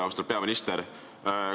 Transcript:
Austatud peaminister!